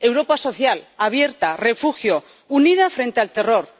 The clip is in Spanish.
Europa social, abierta, refugio, unida frente al terror